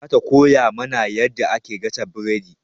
Za ta koya mana yadda ake gasa buredi.